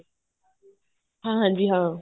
ਹਾਂਜੀ ਹਾਂ